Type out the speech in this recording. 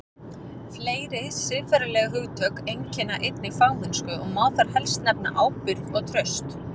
Fleiri siðferðileg hugtök einkenna einnig fagmennsku og má þar helst nefna ábyrgð og traust.